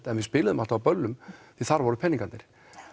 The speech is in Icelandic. en við spiluðum alltaf á böllum því þar voru peningarnir